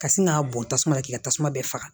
Ka sin k'a bɔn tasuma k'i ka tasuma bɛɛ faga